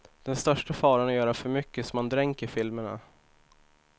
Den största faran är att göra för mycket så att man dränker filmerna.